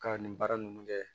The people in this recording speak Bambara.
Ka nin baara nunnu kɛ